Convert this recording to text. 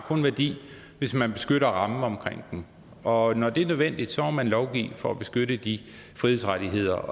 har værdi hvis man beskytter rammen omkring dem og når det er nødvendigt så må man lovgive for at beskytte de frihedsrettigheder